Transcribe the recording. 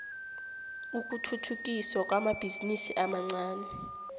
ukuthuthukiswa kwamabhizinisi amancani